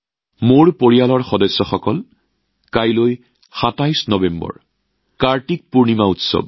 মোৰ পৰিয়ালৰ সদস্যসকল কাইলৈ ২৭ নৱেম্বৰত কাৰ্তিক পূৰ্ণিমাৰ উৎসৱ